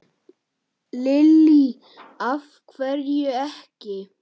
Lillý: Af hverju ekki?